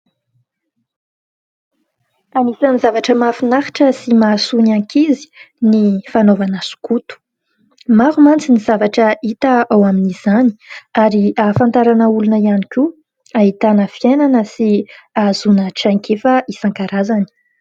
Anisan'ny zavatra mahafinaritra sy mahasoa ny ankizy ny fanaovana skoto. Maro mantsy ny zavatra hita ao amin'izany ary ahafantarana olona ihany koa, ahitana fiainana sy ahazoana traikefa isan-karazany.